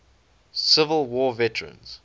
civil war veterans